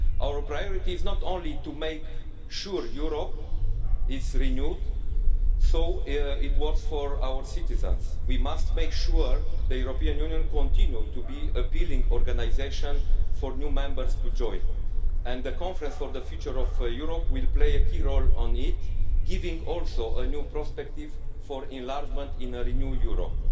Our priority is not only to make sure Europe is renewed so it works for our citizens, but we must make sure that the European Union continues to be an appealing organisation for new members to join. The conference on the future of Europe will play a key role, giving also a new prospective for enlargement in a renewed Europe.